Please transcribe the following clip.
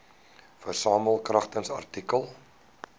versamel kragtens artikel